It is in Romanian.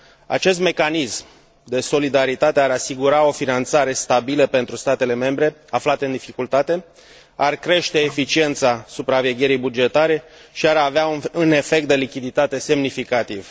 Acest mecanism de solidaritate ar asigura o finanțare stabilă pentru statele membre aflate în dificultate, ar crește eficiența supravegherii bugetare și ar avea un efect de lichiditate semnificativ.